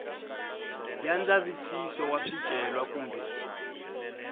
ya ndzavisiso wa swicelwa kumbe